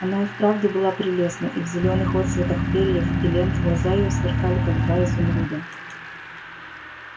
она и вправду была прелестна и в зелёных отсветах перьев и лент глаза её сверкали как два изумруда